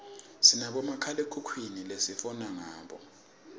sinabomakhalekhukhwini lesifona ngabo